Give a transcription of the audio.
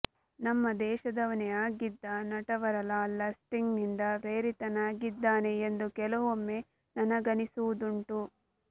ನಮ್ಮ ದೇಶದವನೇ ಆಗಿದ್ದ ನಟವರಲಾಲ್ ಲಸ್ಟಿಗ್ ನಿಂದ ಪ್ರೇರಿತನಾಗಿದ್ದನೇ ಎಂದು ಕೆಲವೊಮ್ಮೆ ನನಗನ್ನಿಸುವುದುಂಟು